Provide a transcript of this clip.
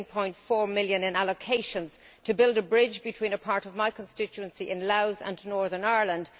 17.4 million in allocations to build a bridge between part of my constituency in Louth and Northern Ireland.